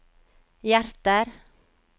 hjerter